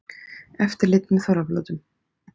Eftirlit með þorrablótum